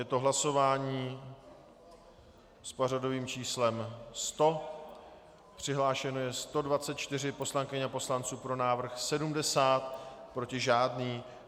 Je to hlasování s pořadovým číslem 100, přihlášeno je 124 poslankyň a poslanců, pro návrh 70, proti žádný.